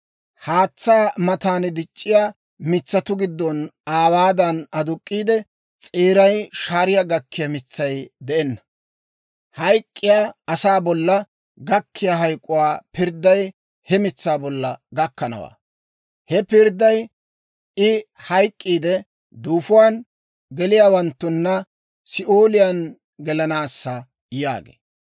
Haatsaa matan dic'c'iyaa mitsatuu giddon aawaadan aduk'k'iide, s'eeray shaariyaa gakkiyaa mitsay de'enna. Hayk'k'iya asaa bolla gakkiyaa hayk'k'uwaa pirdday he mitsaa bolla gakkanawaa; he pirdday I hayk'k'iide, duufuwaan geliyaawanttuna Si'ooliyaan gelanaassa» yaagee.